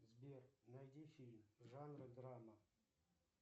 сбер найди фильм жанра драма